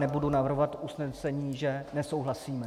Nebudu navrhovat usnesení, že nesouhlasíme.